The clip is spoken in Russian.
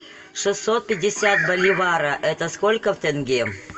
шестьсот пятьдесят боливара это сколько в тенге